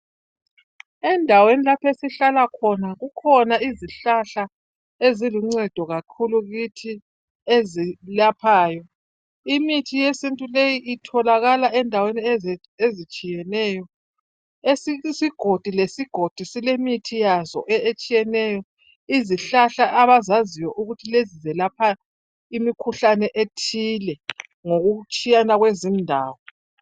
Endaweni lapho esihlala khona. Kukhona izihlahla eziluncedo kakhulu kuthi ezilaphayo. Imithi yesintu leyi itholakala endaweni ezitshiyeneyo esinye isigodi lesigodi silemithi yazo etshiyeneyo. Izihlahla abazazi ukuthiezi zelapha imikhuhlane ethile ngokutshiyana kwezindawo.